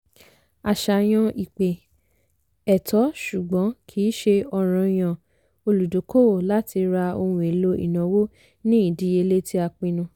àṣàyàn ìpè - ẹ̀tọ́ ṣùgbọ́n kìí ṣe ọ̀ranyan olùdókòwò láti ra ohun èlò ìnáwó ní ìdíyelé tí a pinnu.